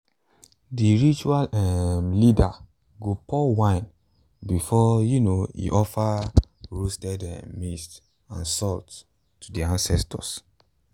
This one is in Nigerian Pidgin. the ritual um leader go pour wine before um e offer roasted um maize and salt to the ancestors.